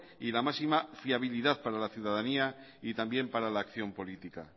y la máxima fiabilidad para la ciudadanía y también para la acción política